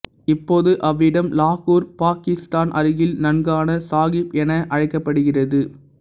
இப்போது அவ்விடம் லாகூர் பாக்கிஸ்தான் அருகில் நன்கான சாஹிப் என அழைக்கப்படுகிறது